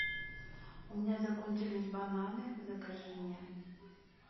у меня закончились бананы закажи мне